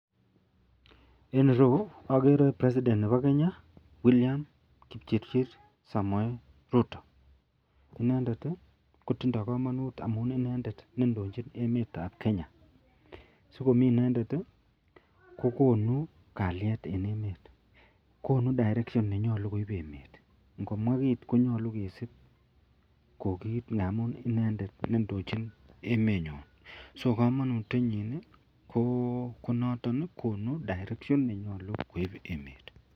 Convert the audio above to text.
En ireyu agere president Nebo Kenya William kipchirchir samoe Ruto inendet kotinye kamanut amun inendet nendojin nemet ab Kenya sikomi inendet kokonubkalyet en emet akokonu direction akomwabkit koyache kesibbkoukit nenyalu amun inendet nendochin me nyon ako kamanut inyin konoton konu direction Nebo emet